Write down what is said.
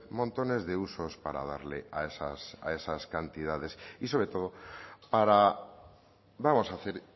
montones de usos para darle a esas cantidades y sobre todo para vamos a hacer